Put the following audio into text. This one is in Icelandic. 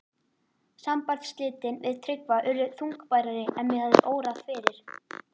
Sambandsslitin við Tryggva urðu þungbærari en mig hafði órað fyrir.